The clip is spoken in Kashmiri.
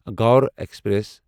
گوٚر ایکسپریس